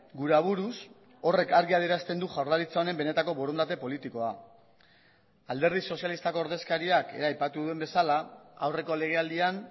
gure aburuz horrek argi adierazten du jaurlaritza honen benetako borondate politikoa alderdi sozialistako ordezkariak ere aipatu duen bezala aurreko legealdian